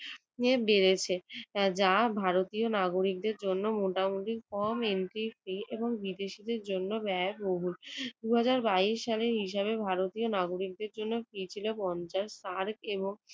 বেড়েছে যা ভারতীয় ভারতী নাগরিকদের জন্য মোটামুটি কম entry fee এবং বিদেশীদের জন্য ব্যয়বহুল। দুই হাজার বাইশ সালের হিসাবে ভারতীয় নাগরিকদের জন্য fee ছিল পঞ্চাশ আর কেহ